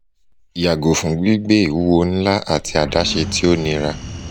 yago fun gbigbe iwuwo nla ati adaṣe ti o nira